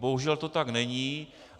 Bohužel to tak není.